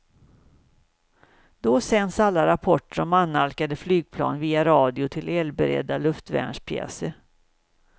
Då sänds alla rapporter om annalkande flygplan via radio till eldberedda luftvärnspjäser.